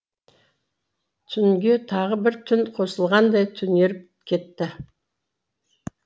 түнге тағы бір түн қосылғандай түнеріп кетті